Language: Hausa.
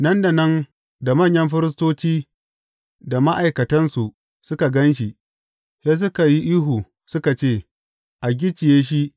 Nan da nan da manyan firistoci da ma’aikatansu suka gan shi, sai suka yi ihu suka ce, A gicciye!